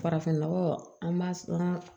Farafinnɔgɔ an b'a sɔn